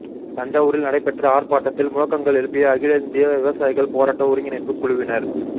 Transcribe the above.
தஞ்சாவூரில் நடைபெற்ற ஆா்ப்பாட்டத்தில் முழக்கங்கள் எழுப்பிய அகில இந்திய விவசாயிகள் போராட்ட ஒருங்கிணைப்புக் குழுவினா்